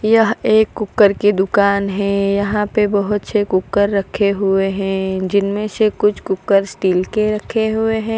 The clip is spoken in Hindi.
यह एक कुकर की दुकान है यहां पे बहोत से कुकर रखे हुए हैं जिनमें से कुछ कुकर स्टील के रखे हुए हैं।